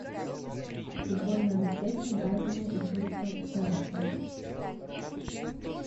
футбольная встреча брайтона и кристал пэласа